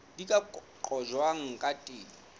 di ka qojwang ka teng